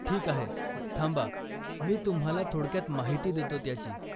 ठीक आहे, थांबा मी तुम्हाला थोडक्यात माहिती देतो त्याची.